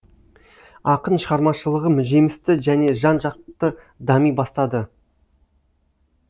ақын шығармашылығы жемісті және жан жақты дами бастады